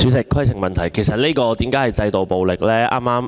主席，為何稱這個情況為"制度暴力"？